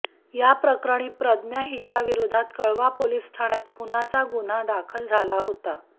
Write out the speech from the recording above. याप्रकरणी प्रज्ञा हिच्याविरोधात कळवा पोलीस ठाण्यात खूनाचा गुन्हा दाखल झाला होता